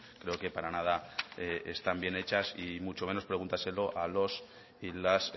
creo que para nada están bien hechas y mucho menos pregúntaselo los y las